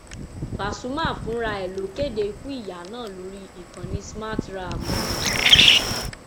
pasumà fúnra ẹ ló kéde ikú ìyá náà lórí ìkànnì smarthraàmù rẹ